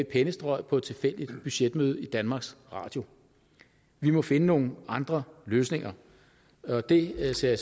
pennestrøg på et tilfældigt budgetmøde i danmarks radio vi må finde nogle andre løsninger og det ser